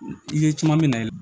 I ye kuma min na i